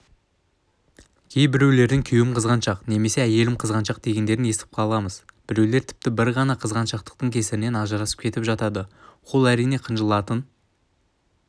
кейбіреулердің күйеуім қызғаншақ немесе әйелім қызғаншақ дегендерін естіп қаламыз біреулер тіпті бір ғана қызғаншақтықтың кесірінен ажырасып кетіп жатады ол әрине қынжылтатын